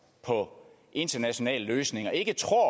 på internationale løsninger ikke tror